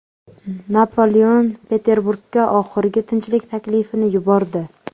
Napoleon Peterburgga oxirgi tinchlik taklifini yubordi.